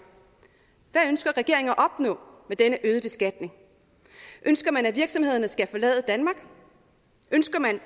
hvad ønsker regeringen at opnå med denne øgede beskatning ønsker man at virksomhederne skal forlade danmark ønsker man